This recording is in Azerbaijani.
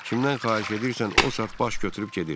Kimdən xahiş edirsən, o saat baş götürüb gedir.